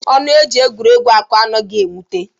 Ọnụ e ji egwuregwu akọ anaghị ewute.